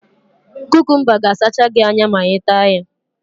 Kukumba ga asacha gị anya ma I taa ya